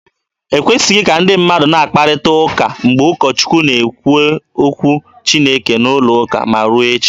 E kwesịghị ka ndị mmadụ na-akparịta ụka mgbe ụkọ Chukwu na-ekwu okwu Chineke n'ụlọ ụka, ma ruo echi.